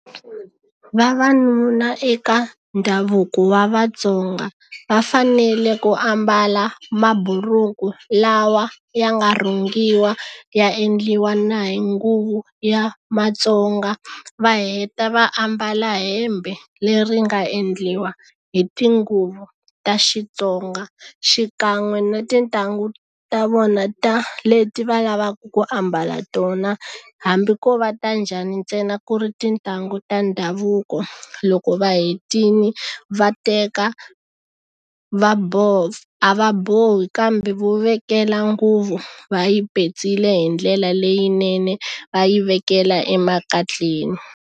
Vavanuna eka ndhavuko wa Vatsonga va fanele ku ambala maburuku lawa ya nga rhungiwa ya endliwa na hi nguvu ya matsonga va heta va ambala hembe leri nga endliwa hi tinguva ta Xitsonga xikan'we na tintangu ta vona ta leti va lavaka ku ambala tona hambi ko va ta njhani ntsena ku ri tintangu ta ndhavuko loko va hetile va teka va a va bohi kambe vo vekela nguvu va yi petsile hi ndlela leyinene va yi vekela emakatleni.